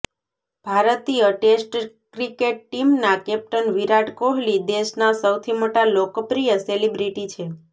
ભારતીય test cricket ટીમના captain Virat Kohli દેશના સૌથી મોટા લોકપ્રિય સેલિબ્રિટી છે